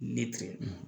Ne tɛ